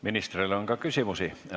Ministrile on ka küsimusi.